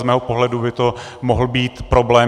Z mého pohledu by to mohl být problém.